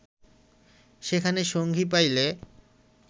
সেখানে সঙ্গী পাইলে